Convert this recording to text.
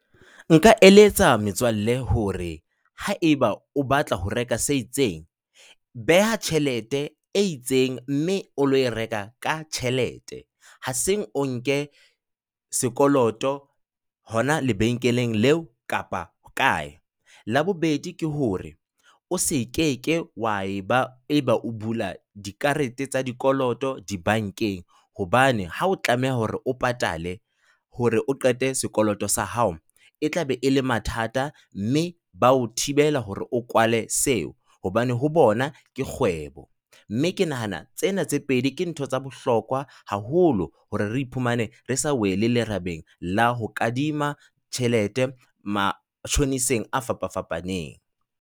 Nka eletsa metswalle hore haeba o batla ho reka se itseng, beha tjhelete e itseng mme o lo e reka ka tjhelete. Ha seng o nke sekoloto hona lebenkeleng leo kapa ho kae. La bobedi, ke hore o se keke wa eba eba o bula dikarete tsa dikoloto dibankeng hobane ha o tlameha hore o patale hore o qete sekoloto sa hao. E tlabe e le mathata mme ba o thibela hore o kwale seo hobane ho bona ke kgwebo. Mme ke nahana tsena tse pedi ke ntho tsa bohlokwa haholo hore re iphumane re sa wele lerabeng la ho kadima tjhelete matjhoniseng a fapafapaneng.